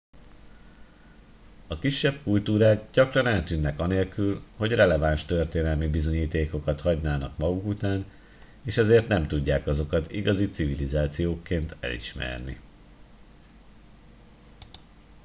a kisebb kultúrák gyakran eltűnnek anélkül hogy releváns történelmi bizonyítékokat hagynának maguk után és ezért nem tudják azokat igazi civilizációkként elismerni